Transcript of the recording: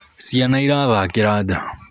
Cĩana cĩrathakĩira njaa